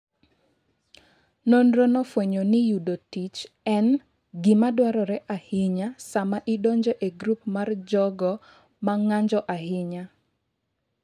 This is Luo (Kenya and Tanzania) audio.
Nonrono nofwenyo ni yudo tich en "gima dwarore ahinya sama idonjo e grup mar jogo ma ng'anjo ahinya".